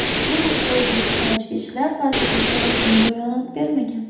Bu haqda O‘zbekiston Ichki ishlar vazirligi rasmiy bayonot bermagan.